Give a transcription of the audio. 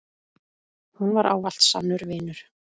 Hún var ávallt sannur vinur.